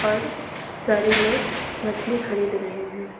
और सारे लोग मछली खरीद रहे हैं।